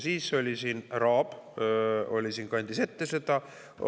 Siis oli siin härra Aab, kes kandis seda ette.